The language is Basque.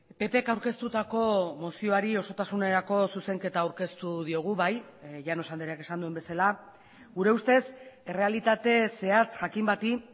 ppk aurkeztutako mozioari osotasunerako zuzenketa aurkeztu diogu bai llanos andreak esan duen bezala gure ustez errealitate zehatz jakin bati